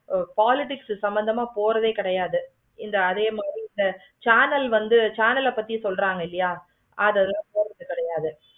politics சம்மந்தமே எதுவுமே கிடையாது. அதே மாதிரி இந்த channel வந்து இந்த channel பத்தி சொல்றாங்க இல்லையா